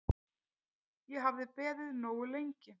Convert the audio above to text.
Ég hafði beðið nógu lengi.